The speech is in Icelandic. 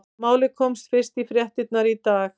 Málið komst fyrst í fréttirnar í dag.